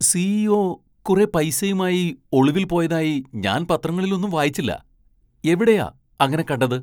CEO. കുറെ പൈസയുമായി ഒളിവിൽ പോയതായി ഞാൻ പത്രങ്ങളിലൊന്നും വായിച്ചില്ല. എവിടെയാ അങ്ങനെ കണ്ടത് ?